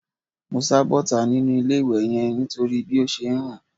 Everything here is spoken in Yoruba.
Mo sá bọ́ta nínú ilé-ìwẹ̀ yẹn nítorí bí ó ṣe ń rùn